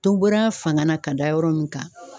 To bɔra a fanga na ka da yɔrɔ min kan